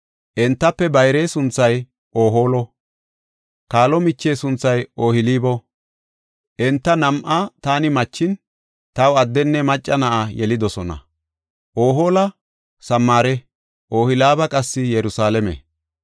Entafe bayre sunthay Ohoolo; kaalo miche sunthay Ohooliba. Enta nam7a taani machin, taw addenne macca na7a yelidosona. Ohoola Samaare; Ohooliba qassi Yerusalaame.”